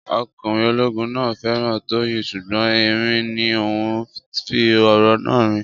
Ọkùnrin ológun náà féràn Tóóyìn sùgbón ẹ̀rín ní òhun fí òrò náà rìn